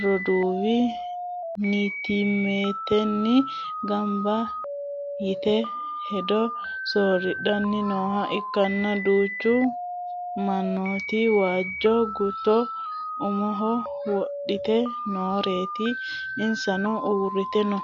roduuwi nittimmatenni gamba yite hedo sooridhannni nooha ikkanna, duuchu mannooti waajjo gutto umoho wodhite nooreeti, insano uurrite no.